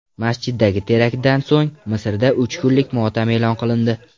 Masjiddagi teraktdan so‘ng, Misrda uch kunlik motam e’lon qilindi.